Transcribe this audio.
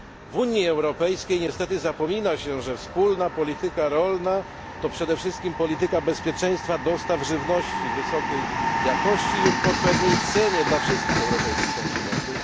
W Unii Europejskiej niestety zapomina się, że wspólna polityka rolna to przede wszystkim polityka bezpieczeństwa dostaw żywności wysokiej jakości i po odpowiedniej cenie dla wszystkich europejskich konsumentów.